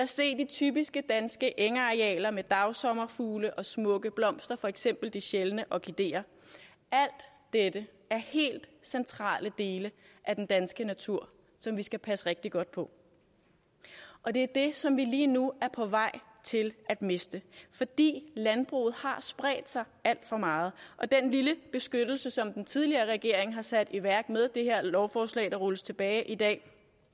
se de typiske danske engarealer med dagsommerfugle og smukke blomster for eksempel de sjældne orkideer alt dette er helt centrale dele af den danske natur som vi skal passe rigtig godt på og det er det som vi lige nu er på vej til at miste fordi landbruget har spredt sig alt for meget den lille beskyttelse som den tidligere regering har sat i værk og med det her lovforslag rulles tilbage i dag